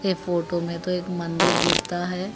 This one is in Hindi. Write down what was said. यह फोटो में तो एक मंदिर दीस्ता है।